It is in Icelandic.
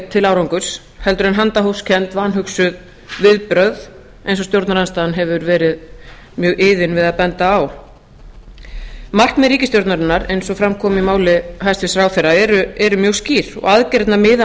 til árangurs en handahófskennd vanhugsuð viðbrögð eins og stjórnarandstaðan hefur verið mjög iðin við að benda á markmið ríkisstjórnarinnar eins og fram kom í máli hæstvirts ráðherra eru mjög skýr og aðgerðirnar miða